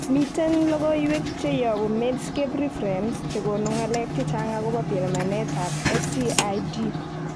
Miten logoiywek cheyobu Medscape Reference chekonu ng'alek chechang akobo pimanet ab SCID